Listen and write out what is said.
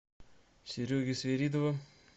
сереги свиридова